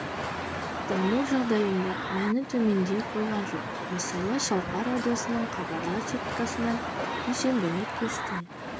дамуы жағдайында мәні төмендей қойған жоқ мысалы шалқар радиосының хабарлар сеткасынан дүйсенбілік кесте